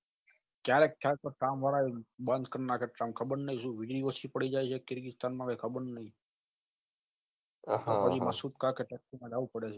કયારેક ખલા કામ વાળા એ બંઘ કરી નાખે છે તન ખબર ની કે સુ દિવસી પડી જાય છે કીર્તીસ્તર ખબર ની પછી ટેક્સી કરી જવું પડે છે